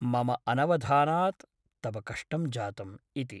मम अनवधानात् तव कष्टं जातम् ' इति ।